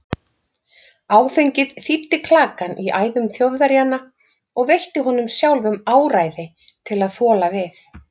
Áfengið þíddi klakann í æðum Þjóðverjanna og veitti honum sjálfum áræði til að þola við.